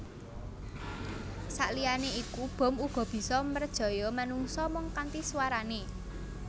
Saliyané iku bom uga bisa mrejaya manungsa mung kanthi swarané